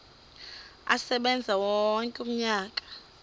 asebenze wonke umnyaka